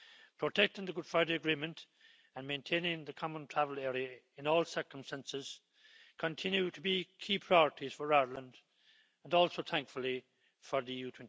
Protecting the Good Friday Agreement and maintaining the Common Travel Area in all circumstances continue to be key priorities for Ireland and also, thankfully, for the EU